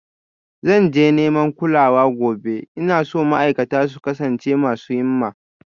Zan je neman kulawa gobe, ina so ma'aikata su kasance masu himma